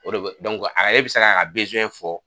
O de a yɛrɛ bɛ se k'a ka fɔ